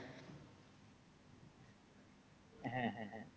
হ্যাঁ হ্যাঁ হ্যাঁ